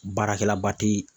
Baarakɛlaba tɛ